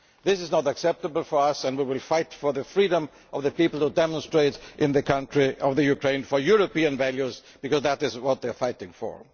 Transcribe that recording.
This is not acceptable for us and we will fight for the freedom of the people who are demonstrating in the country of Ukraine for European values, because that is what they are fighting for.